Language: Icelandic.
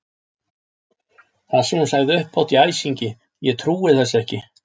Það sem hún sagði upphátt í æsingi: Ég trúi þessu ekki!